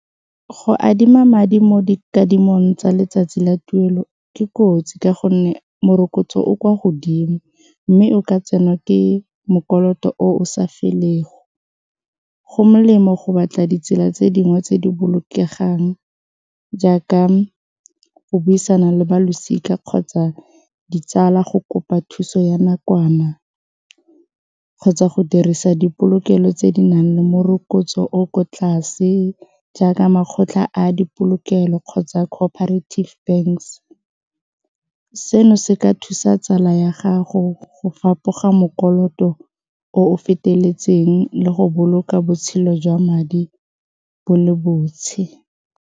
Go adima madi mo dikadimong tsa letsatsi la tuelo ke kotsi ka gonne morokotso o kwa godimo mme o ka tsenwa ke o o sa felego, go molemo go batla ditsela tse dingwe tse di bolokegang jaaka go buisana le ba losika kgotsa ditsala go kopa thuso ya nakwana kgotsa go dirisa dipolokelo tse di nang le morokotso o ko tlase, jaaka makgotla a dipolokelo kgotsa corporative banks seno se ka thusa tsala ya gago go fapoga o o feteletseng le go boloka botshelo jwa madi bo le .